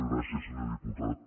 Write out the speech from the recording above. gràcies senyor diputat